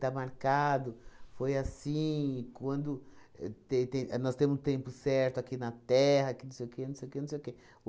Está marcado, foi assim, quando e tem tem... Nós temos um tempo certo aqui na Terra, que não sei o quê, não sei o quê, não sei o quê.